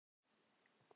Þeir lögðu árar í bát.